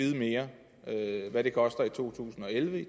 hvad det koster i to tusind og elleve i